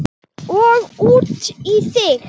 Og út í þig.